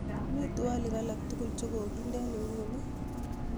mii twolk alaktugul chogoginde en inguni ii